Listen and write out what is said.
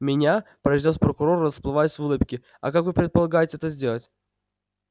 меня произнёс прокурор расплываясь в улыбке а как вы предполагаете это сделать